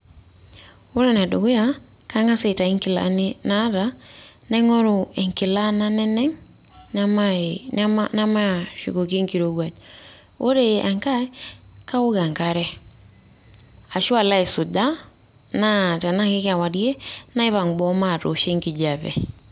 Ore ene dukuya kang`as aitayu nkilani naata naing`oru enkila naneneng namai nema nemaashukoki enkirowuaj, ore enkae kaok enkare ashu alo aisuja ashu tenaa kikewarie naipang boo matoosho enkijape.